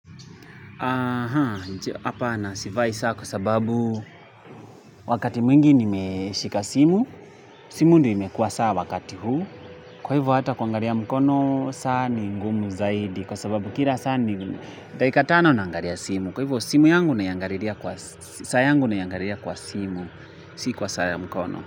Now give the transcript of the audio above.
Aha, hapa na sivai saa kwa sababu wakati mwingi nimeshika simu, simu ndio imekua saa wakati huu, kwa hivo hata kuangalia mkono saa ni ngumu zaidi kwa sababu kila saa ni dakika tano naangalia simu, kwa hivo simu yangu naiangalilia kwa, saa yangu naiangalilia kwa simu, si kwa saa ya mkono.